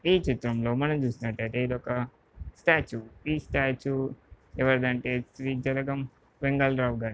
ఈ చిత్రం లో మనం చూస్తునట్టు అయితే ఇదొక స్టాట్యూ. ఈ స్టాట్యూ ఎవర్ధంటే శ్రీ జలగం వెంగళ్ రావు గారిది.